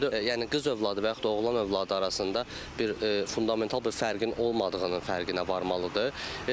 Yəni qız övladı və yaxud da oğlan övladı arasında bir fundamental bir fərqin olmadığının fərqinə varmalıdır.